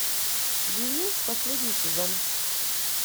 винил последний сезон